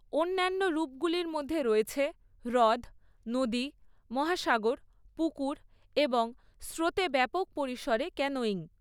অন্যান্য রূপগুলির মধ্যে রয়েছে হ্রদ, নদী, মহাসাগর, পুকুর এবং স্রোতে ব্যাপক পরিসরে ক্যানোয়িং।